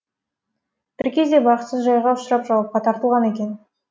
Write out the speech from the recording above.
бір кезде бақытсыз жайға ұшырап жауапқа тартылған екен